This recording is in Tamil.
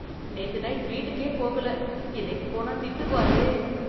நேத்து நைட் வீட்டுக்கே போகல இன்னைக்கு போனா திட்டுவாரே.